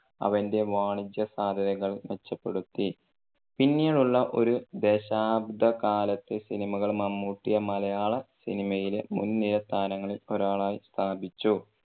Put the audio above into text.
അവന്റെ വാണിജ്യ സാധ്യതകൾ മെച്ചപ്പെടുത്തി. പിന്നീടുള്ള ഒരു ദശാബ്ദ കാലത്തെ സിനിമകൾ മമ്മൂട്ടിയെ മലയാള സിനിമയിലെ മുൻനിര താരങ്ങളിൽ ഒരാളായി സ്ഥാപിച്ചു.